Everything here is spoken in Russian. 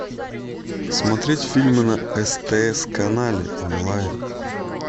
смотреть фильмы на стс канале онлайн